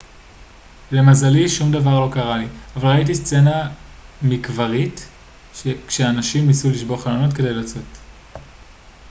למזלי שום דבר לא קרה לי אבל ראיתי סצנה מקברית כשאנשים ניסו לשבור חלונות כדי לצאת